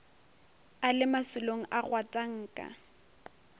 a le masolong a gwatanka